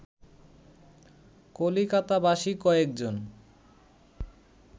কলিকাতাবাসী কয়েকজন